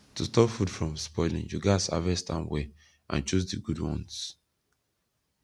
to stop food from spoiling you gats harvest am well and choose di good ones